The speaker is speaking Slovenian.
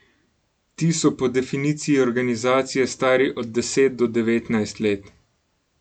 Ti so po definiciji organizacije stari od deset do devetnajst let.